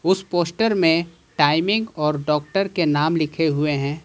उस पोस्टर में टाइमिंग और डॉक्टर के नाम लिखे हुए हैं।